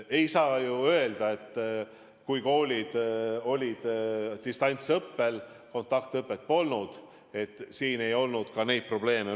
Ei saa ju öelda, et kui koolid olid distantsõppel ja kontaktõpet polnud, et siis ei olnud ka neid probleeme.